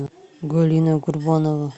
галина курбанова